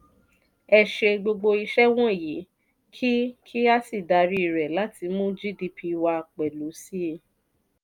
ẹ ṣe gbogbo iṣẹ́ wọ̀nyii kí kí a sì darí rẹ̀ láti mú gdp wa pelu síi.